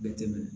Bɛ tɛmɛn